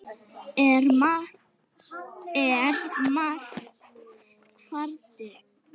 er mara kvaldi.